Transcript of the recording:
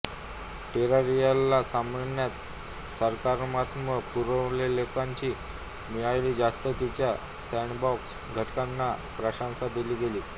टेरारियाला सामान्यत सकारात्मक पुनरावलोकने मिळाली ज्यात तिच्या सँडबॉक्स घटकांना प्रशंसा दिली गेली